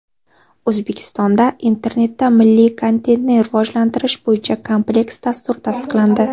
O‘zbekistonda Internetda milliy kontentni rivojlantirish bo‘yicha kompleks dastur tasdiqlandi.